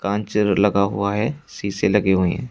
लगा हुआ है शीशे लगे हुए हैं।